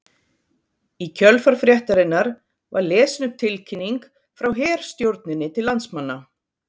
Í kjölfar fréttarinnar var lesin upp tilkynning frá herstjórninni til landsmanna